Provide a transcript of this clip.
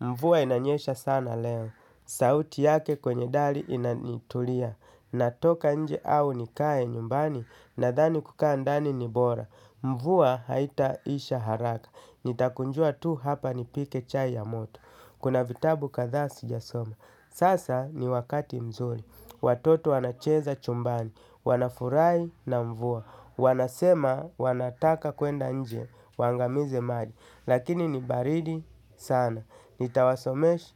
Mvua inanyesha sana leo, sauti yake kwenye dali inanitulia, natoka nje au nikae nyumbani, nadhani kukaa ndani ni bora. Mvua haitaisha haraka, nitakunjua tu hapa nipike chai ya moto, kuna vitabu kadhaa siijasoma. Sasa ni wakati mzuri, watoto wanacheza chumbani, wanafurahi na mvua, wanasema wanataka kwenda nje, wangamize maji, lakini nibaridi sana. Nitawasomesha